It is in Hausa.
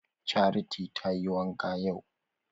Charity tayi wanka yau?